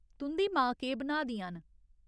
तुं'दी मां केह् बनाऽ दियां न ?